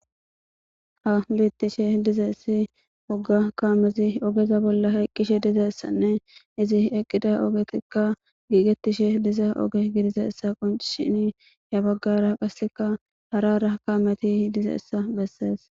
ha bittishe dizayissi woga kaamezi ogeza bolla hayqqishe dizayessanne izi eqqida ogetikka giigetishe diza oge gidizayessa qoncshini ya baggara qasseka hara hara kaameti dizeessa bessees